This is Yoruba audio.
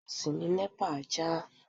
Iná ilé ìjọsìn ni NEPA já.